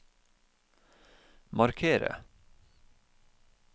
markere